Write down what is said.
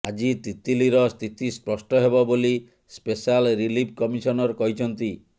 ଆଜି ତିତିଲିର ସ୍ଥିତି ସ୍ପଷ୍ଟ ହେବ ବୋଲି ସ୍ପେଶାଲ ରିଲିଫ କମିଶନର କହିଛନ୍ତି